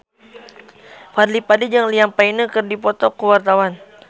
Fadly Padi jeung Liam Payne keur dipoto ku wartawan